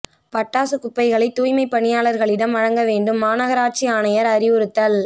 பட்டாசுக் குப்பைகளை தூய்மைப் பணியாளா்களிடம் வழங்க வேண்டும் மாநகராட்சி ஆணையா் அறிவுறுத்தல்